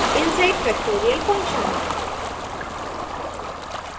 inside factorial function